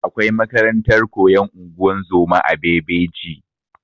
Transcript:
Akwai makarantar koyan ungozoma a bebeji